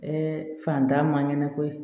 Ɛɛ fantan ma ɲɛnako ye